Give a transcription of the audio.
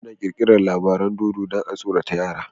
Ana kirkirar labaran dodo dan a tsorata yara